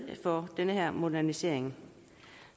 for den her modernisering